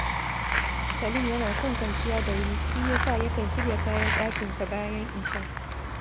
Salim yana son kawanciya da wuri, shi ya sa yakan shirya kayan ɗakinsa bayan isha